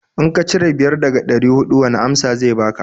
In ka cire biyar daga ɗari huɗu wani amsa zai baka?